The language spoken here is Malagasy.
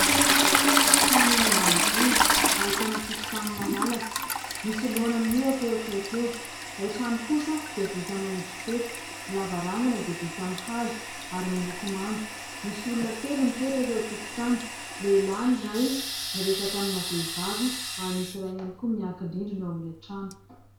Trano eny ambanivohitra, ahitana tokotany malalaka. Misy laona mihohaka eo akaiky eo. Ilay trano kosa dia vita amin'ny rotso-peta. Ny lavarangana dia vita amin'ny hazo ary miloko manga. Misy olona telo mipetraka eo an-tokotany, lehilahy ny iray miresaka amina vehivavy, ary misy iray ihany koa miankin-drindrina eo amin'ilay trano.